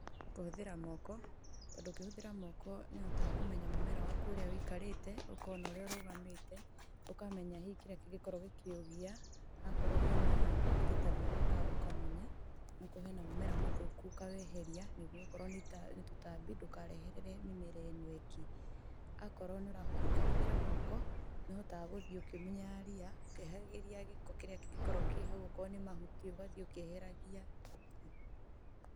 Kũhũthĩra moko, tondũ ũkĩhũthĩra moko nĩ ũhotaga kũmenya mũmera waku ũrĩa ũikarĩte, ũkona ũrĩa ũrũgamĩte, ũkamenya hihi kĩrĩa kĩngĩkorwo gĩkĩ ũgia, akorwo hena indo ta ria ũkamunya, okorwo hena mũmera mũthũku ũkaweheria, nĩguo okorwo nĩ ta tũtambi, ndũkareherere mĩmera ĩno ĩngĩ. Akorwo ũkĩhũthĩra moko, nĩũhotaga gũthiĩ ũkĩmunyaga ria ũkĩeheragia gĩko kĩrĩa kĩngĩkorwo kĩ hau okorwo nĩ mahuti ũgathiĩ ũkĩeheragia.